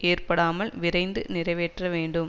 ஏற்படாமல் விரைந்து நிறைவேற்ற வேண்டும்